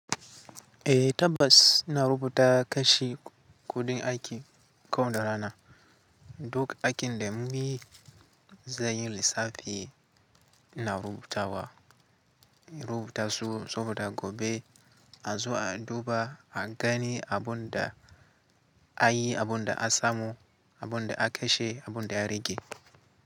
Eh tabbas na rubuta kashi kuɗin aiki kowane rana. Duk aikin da munyi zan yi lissafi ina rubutawa, in rubuta su saboda gobe a zo a duba a gani abunda a yi, abunda a samu, abunda aka shi, abunda ya rage.